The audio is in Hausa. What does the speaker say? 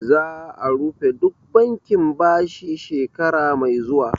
Za'a rufe duk bankin bashi shekara mai zuwa